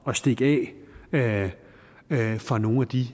at stikke af fra nogle af de